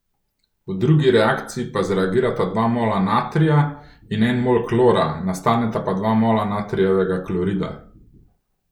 V drugi reakciji pa zreagirata dva mola natrija in en mol klora, nastaneta pa dva mola natrijevega klorida.